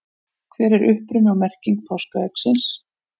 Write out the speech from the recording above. hver er uppruni og merking páskaeggsins